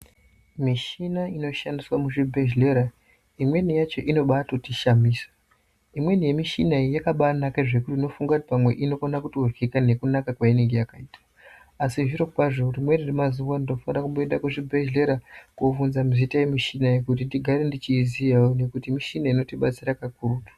Michina inoshandiswe muzvibhedhelera imweni yacho inobatoti shamisa. Imweni yemuchina iyi yakabanaka zvekuti pamwe unofunga kuti inokona kuto ryika nekunaka kweinenge yakaita asi zvirokwazvo rimweni remazuwa ndinofanira kumboenda kuzvibhedhlera kobvunza zita emuchina iyi kuti ndigare ndichiyizivawo nekuti michina inotibatsira kakurutu.